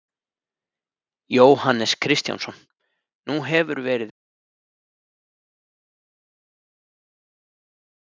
Jóhannes Kristjánsson: Nú hefur verið ör vöxtur í Bakkavör, hvernig verður framhaldið?